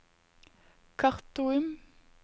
Khartoum